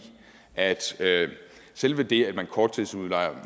at selve det at man korttidsudlejer